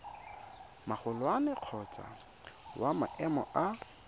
magolwane kgotsa wa maemo a